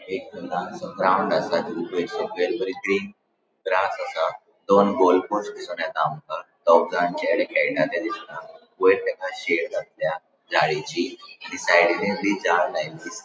एक लानसों ग्राउन्ड आसा बरे ग्रीन ग्रास आसा दोन गोल पोस्ट दीसोन येता आमका दोगजाण चेड़े खेळता ते दिसता वयर तेका शेड घातल्या जाळीची साइडीन बी चार लाइन दिस --